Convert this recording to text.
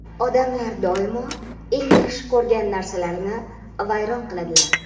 "Odamlar doimo eng yaxshi ko‘rgan narsalarini vayron qiladilar".